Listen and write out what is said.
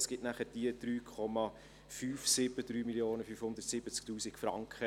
Das ergibt nachher die 3,570 Mio. Franken.